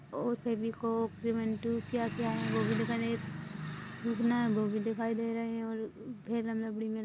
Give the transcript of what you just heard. और फेविकोल क्या क्या है वो भी दिखाई वो भी दिखाई दे रहा है